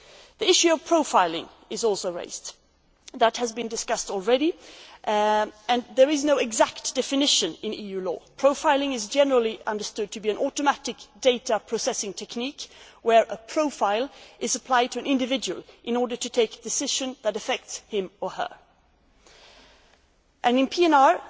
The issue of profiling was also raised. That has been discussed already and there is no exact definition of it in EU law. Profiling is generally understood to be an automatic data processing technique where a profile is applied to an individual in order to take a decision that affects him or her. There